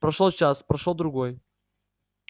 прошёл час прошёл другой